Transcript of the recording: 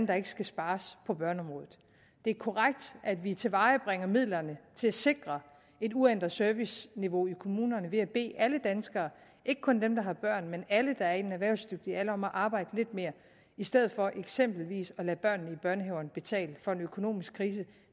der ikke skal spares på børneområdet det er korrekt at vi tilvejebringer midlerne til at sikre et uændret serviceniveau i kommunerne ved at bede alle danskere ikke kun dem der har børn men alle der er i den erhvervsdygtige alder om at arbejde lidt mere i stedet for eksempelvis at lade børnene i børnehaverne betale for en økonomisk krise